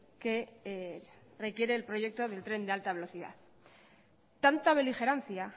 que requiere el proyecto del tren de alta velocidad tanta beligerancia